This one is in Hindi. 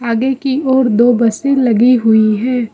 आगे की ओर दो बसें लगी हुई है।